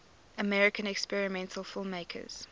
american experimental filmmakers